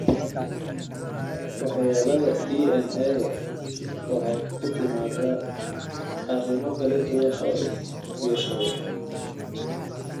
Waxyeellada DNA-da waxay ku timaadaa arrimo kala duwan oo isbiirsaday.